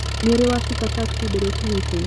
Nĩũrĩ wacuka taxi mbere ya ũkinyĩte?